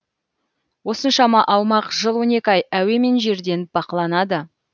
осыншама аумақ жыл он екі ай әуе мен жерден бақыланады